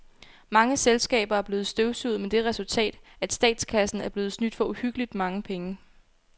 Mange selskaber er blevet støvsuget med det resultat, at statskassen er blevet snydt for uhyggeligt mange penge.